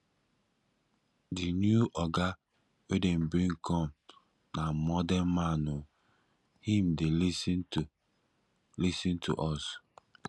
di new oga wey dem bring come na modern man o him dey lis ten to lis ten to us